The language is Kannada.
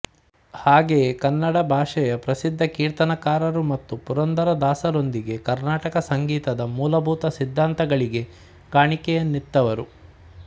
ಹಾಗೆಯೇ ಕನ್ನಡ ಭಾಷೆಯ ಪ್ರಸಿದ್ಧ ಕೀರ್ತನಕಾರರು ಮತ್ತು ಪುರಂದರದಾಸರೊಂದಿಗೆ ಕರ್ನಾಟಕ ಸಂಗೀತದ ಮೂಲಭೂತ ಸಿದ್ಧಾಂತಗಳಿಗೆ ಕಾಣಿಕೆಯನ್ನಿತ್ತವರು